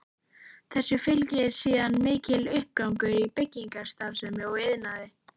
Þessu fylgdi síðan mikill uppgangur í byggingarstarfsemi og iðnaði.